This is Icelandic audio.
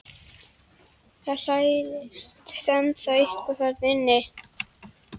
Það hrærist ennþá eitthvað þarna inni.